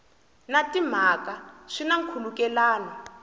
na timhaka swi na nkhulukelano